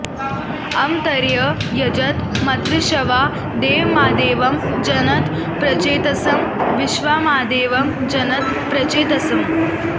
अमर्त्यं यजत मर्त्येष्वा देवमादेवं जनत प्रचेतसं विश्वमादेवं जनत प्रचेतसम्